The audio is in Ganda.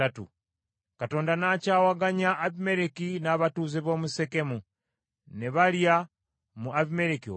Katonda n’akyawaganya Abimereki n’abatuuze b’omu Sekemu, ne balya mu Abimereki olukwe,